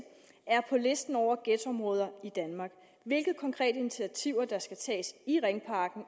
er på listen over ghettoområder i danmark hvilke konkrete initiativer der skal tages i ringparken